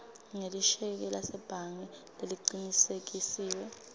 ngelisheke lasebhange lelicinisekisiwe